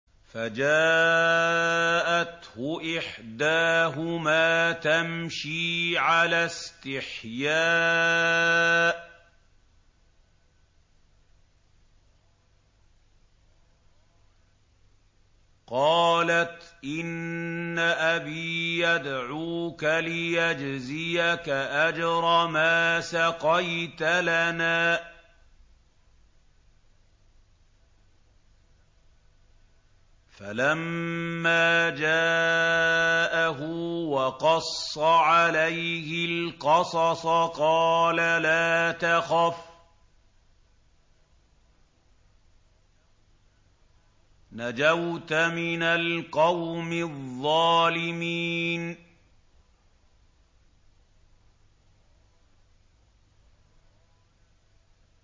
فَجَاءَتْهُ إِحْدَاهُمَا تَمْشِي عَلَى اسْتِحْيَاءٍ قَالَتْ إِنَّ أَبِي يَدْعُوكَ لِيَجْزِيَكَ أَجْرَ مَا سَقَيْتَ لَنَا ۚ فَلَمَّا جَاءَهُ وَقَصَّ عَلَيْهِ الْقَصَصَ قَالَ لَا تَخَفْ ۖ نَجَوْتَ مِنَ الْقَوْمِ الظَّالِمِينَ